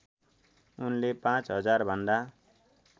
उनले पाँच हजारभन्दा